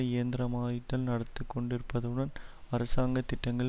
இயந்திரமாய்தல் நடந்துகொண்டிருப்பதுடன் அரசாங்க திட்டங்கள்